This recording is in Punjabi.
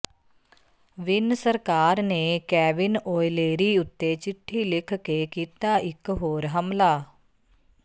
ਵਿੰਨ ਸਰਕਾਰ ਨੇ ਕੈਵਿਨ ਓਲਿਏਰੀ ਉੱਤੇ ਚਿੱਠੀ ਲਿਖ ਕੇ ਕੀਤਾ ਇੱਕ ਹੋਰ ਹਮਲਾ